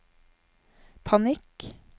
panikk